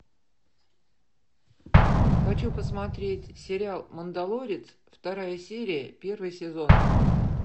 хочу посмотреть сериал мандалорец вторая серия первый сезон